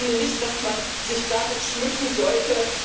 Ich finde nicht, dass man sich damit schmücken sollte!